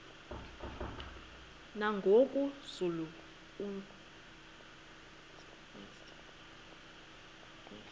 nangoku zulu uauthi